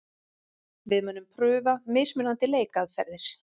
Við munum prufa mismunandi leikaðferðir.